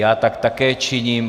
Já tak také činím.